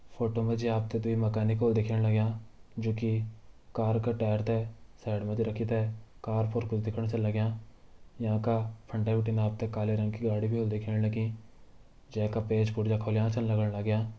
फोटो मा जी आप त दुई मैकेनिक होल दिखेण लग्यां जूकी कार का टायर त साइड मा रखी त कार पर कुछ देखण छन लग्यां यांका फंडे बिटिन आप त काले रंग की गाड़ी भी होली दिखेण लगीं जै का पेंच पुर्जा खुल्या छन लगण लग्यां।